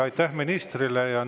Aitäh ministrile!